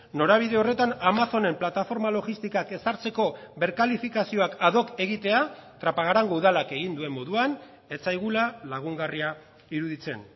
norabide horretan amazonen plataforma logistikak ezartzeko berkalifikazioak ad hoc egitea trapagarango udalak egin duen moduan ez zaigula lagungarria iruditzen